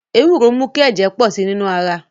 Ewuro ń mu ki ẹjẹ pọ si ninu ara